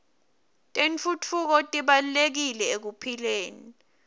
tentfutfuko tibalulekile ekuphileni